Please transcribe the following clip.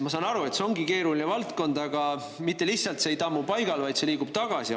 Ma saan aru, et see ongi keeruline valdkond, aga see mitte lihtsalt ei tammu paigal, vaid see liigub tagasi.